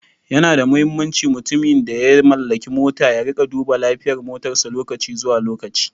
Yana da muhimmanci mutumin da ya mallaki mota ya rika duba lafiyar motarsa lokaci zuwa lokaci.